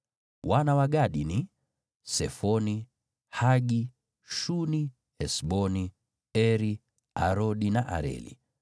Wana wa Gadi ni: Sefoni, Hagi, Shuni, Esboni, Eri, Arodi na Areli.